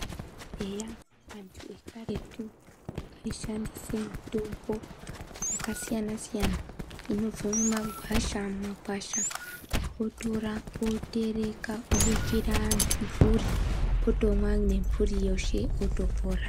Eya antu ekaretu aishandisa mutombo yakasiyana siyana inobva mumakwasha votora votereka kubikira antu nemburi otomwa eshe otopona.